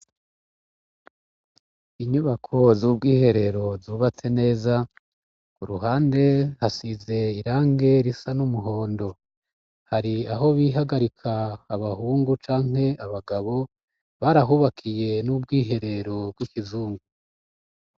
Inyubako z'ubw'iherero zubatse neza. Ku ruhande hasize irangi risa n'umuhondo. Hari aho bihagarika, abahungu canke abagabo, barahubakiye n'ubwiherero bw'ikizungu.